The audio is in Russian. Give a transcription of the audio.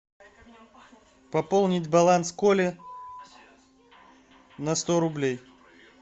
пополнить баланс коли на сто рублей